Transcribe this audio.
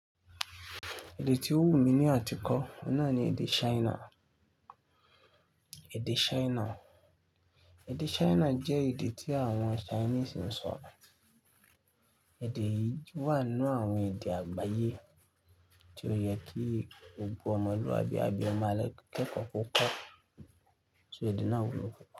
Èdè tí ó wù mí ní àtìkọ, ọ̀hun na ni èdè China. Èdè china, èdè china jẹ́ èdè tí àwọn Chinese ń sọ, èdè yìí wà nínú àwọn èdè àgbáyé tí ó yẹ kí gbogbo ọmọlúàbí abi ọmọ akẹ́kọ̀ọ́ kọ́ kó, so èdè náà wúlò púpọ̀